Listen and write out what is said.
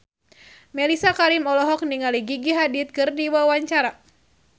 Mellisa Karim olohok ningali Gigi Hadid keur diwawancara